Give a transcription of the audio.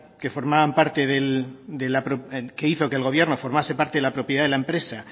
que formaban parte del que hizo que el gobierno formarse parte de la propiedad de la empresa